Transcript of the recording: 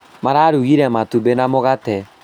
Mararugire matumbĩ na mũgate